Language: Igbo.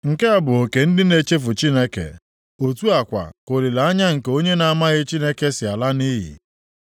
Nke a bụ oke ndị na-echefu Chineke, otu a kwa ka olileanya nke onye na-amaghị Chineke si ala nʼiyi.